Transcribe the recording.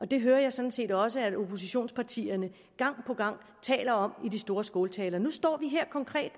det hører jeg sådan set også at oppositionspartierne gang på gang taler om i de store skåltaler nu står vi her